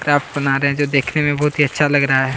Craft बना रहै है जो देखने में बहुत ही अच्छा लग रहा है।